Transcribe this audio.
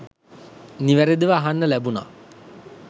නිවැරදිව අහන්න ලැබුණ